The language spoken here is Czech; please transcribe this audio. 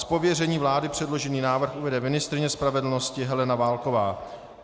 Z pověření vlády předložený návrh uvede ministryně spravedlnosti Helena Válková.